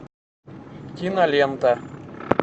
кинолента